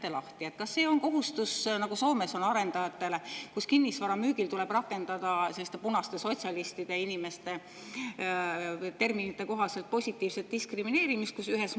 Äkki räägite lahti, kas see on kohustus, nagu on arendajatel Soomes, kus kinnisvara müügil tuleb rakendada selliste punaste sotsialistide terminite kohaselt positiivset diskrimineerimist?